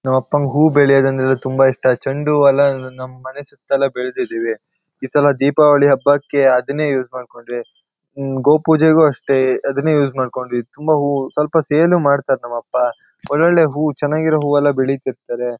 ನಮ್ಮಪ್ಪಂಗ್ ಹೂ ಬೆಳೆಯದಂದ್ರೆ ತುಂಬ ಇಷ್ಟ ಚಂಡೂವೆಲ್ಲ ನಮ್ಮನೆ ಸುತ್ತ ಎಲ್ಲ ಬೆಳ್ದಿದಿವಿ ಈ ಸಲ ದೀಪಾವಳಿ ಹಬ್ಬಕ್ಕೆ ಅದನ್ನೇ ಯೂಸ್ ಮಾಡ್ಕೊಂಡ್ವಿ ಹ್ಮ್ಮ್ ಗೋಪೂಜೆಗೂ ಅಷ್ಟೇ ಅದನ್ನೇ ಯೂಸ್ ಮಾಡ್ಕೊಂಡ್ವಿ ತುಂಬಾ ಹೂ ಸೇಲು ಮಾಡ್ತಾರ್ ನಮ್ಮಪ್ಪ ಒಳ್ಳೊಳ್ಳೆ ಹೂ ಚೆನ್ನಾಗಿರೋ ಹೂವೆಲ್ಲ ಬೆಳಿತಿರ್ತಾರೆ .